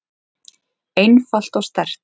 einfalt og sterkt.